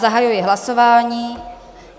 Zahajuji hlasování.